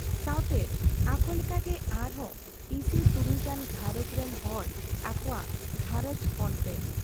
ᱥᱟᱶᱛᱮ ᱟᱠᱚᱞᱮᱠᱟᱜᱮ ᱟᱨᱦᱚᱸ ᱤᱥᱤ ᱛᱩᱨᱩᱭ ᱜᱟᱱ ᱜᱷᱟᱨᱚᱸᱡᱽ ᱨᱤᱱ ᱦᱚᱲ ᱟᱠᱚᱣᱟᱜ ᱜᱷᱟᱨᱚᱸᱡᱽ ᱚᱱᱛᱮ ᱾